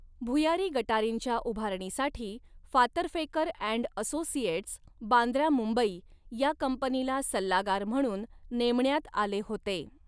भुयारी गटारींच्या उभारणीसाठी फातर्फेकर अँड असोसिएट्स, बांद्रा मुंबई या कंपनीला सल्लागार म्हणून नेमण्यात आले होते.